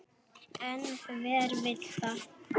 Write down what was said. En hver vill það?